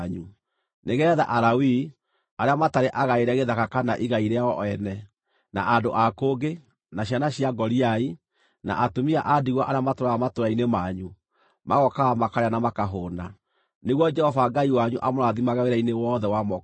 nĩgeetha Alawii (arĩa matarĩ agaĩre gĩthaka kana igai rĩao ene), na andũ a kũngĩ, na ciana cia ngoriai, na atumia a ndigwa arĩa matũũraga matũũra-inĩ manyu, magookaga makarĩa na makahũũna, nĩguo Jehova Ngai wanyu amũrathimage wĩra-inĩ wothe wa moko manyu.